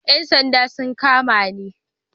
Yan sanda sun kama ni